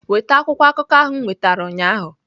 Weta akwụkwọ akụkọ ahụ m nwetara ụnyaahụ!